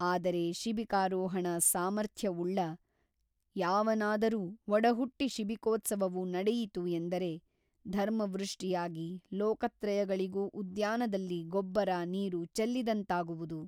ಆದರೆ ಶಿಬಿಕಾರೋಹಣ ಸಾಮರ್ಥ್ಯವುಳ್ಳ ಯಾವನಾದರೂ ಒಡಹುಟ್ಟಿ ಶಿಬಿಕೋತ್ಸವವು ನಡೆಯಿತು ಎಂದರೆ ಧರ್ಮವೃಷ್ಟಿಯಾಗಿ ಲೋಕತ್ರಯಗಳಿಗೂ ಉದ್ಯಾನದಲ್ಲಿ ಗೊಬ್ಬರ ನೀರು ಚೆಲ್ಲಿದಂತಾಗುವುದು.